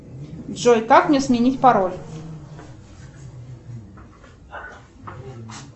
джой как мне сменить пароль